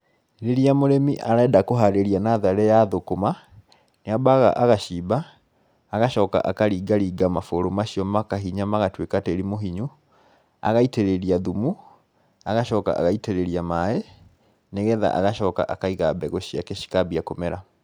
Rῖrῖa mῦrῖmi arenda kῦharῖria natharῖ ya thῦkῦma, nῖambaga agacimba, agacoka akaringa ringa mabῦrῦ macio makahinya magatuῖka tῖri mῦhinyu, agaitῖrῖria thumu agacoka agaitῖrῖria maaῖ nῖgetha agacoka akaiga mbegῦ ciake cikambia kῦmera.